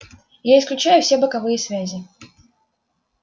я исключаю все боковые связи